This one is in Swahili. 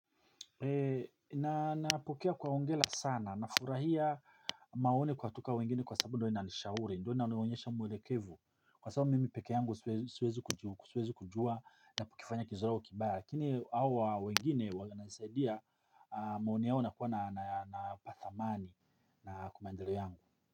Na napokea kwa hongela sana na furahia maono kwa toka wengine kwa sababu ndo inanishauri ndo inanoonyesha mwelekevu. Kwa sababu mimi peke yangu suwezi kujua na kifanya kizora wa kibaya lakini hawa wengine wana nisaidia maono yao nakuwa na upatha mani na kwa maendele yangu.